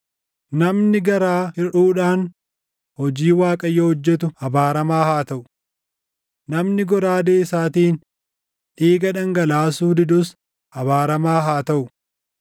“Namni garaa hirʼuudhaan hojii Waaqayyoo hojjetu abaaramaa haa taʼu! Namni goraadee isaatiin dhiiga dhangalaasuu didus abaaramaa haa taʼu!